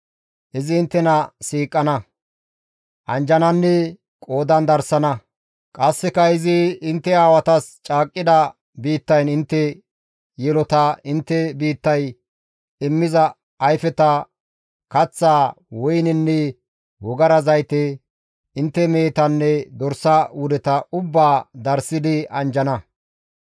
Izi inttena siiqana; anjjananne qoodan darsana; qasseka izi intte aawatas caaqqida biittayn intte yelota, intte biittay immiza ayfeta, kaththaa, woynenne wogara zayte, intte mehetanne dorsa wudeta ubbaa darssidi anjjana.